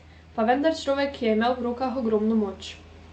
Pa vendar človek, ki je imel v rokah ogromno moč.